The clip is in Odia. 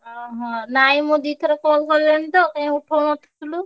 ଅହ! ନାଇଁ ମୁଁ ଦି ଥର call କଲିଣି ତ କାଇଁ ଉଠଉ ନଥିଲୁ?